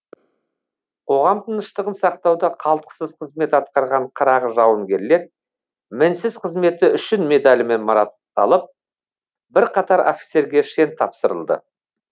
қоғам тыныштығын сақтауда қалтқысыз қызмет атқарған қырағы жауынгерлер мінсіз қызметі үшін медалімен марапатталып бірқатар офицерге шен тапсырылды